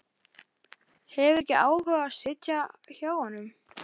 Hefur ekki áhuga á að sitja hjá honum.